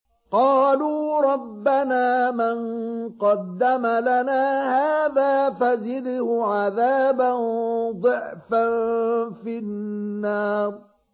قَالُوا رَبَّنَا مَن قَدَّمَ لَنَا هَٰذَا فَزِدْهُ عَذَابًا ضِعْفًا فِي النَّارِ